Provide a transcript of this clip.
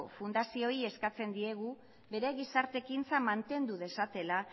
fundazioei eskatzen diegu bere gizarte ekintzan mantendu dezatela